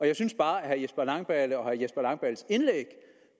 jeg synes bare at herre jesper langballe og herre jesper langballes indlæg